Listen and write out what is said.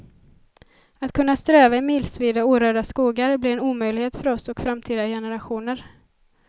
Att kunna ströva i milsvida orörda skogar blir en omöjlighet för oss och framtida generationer.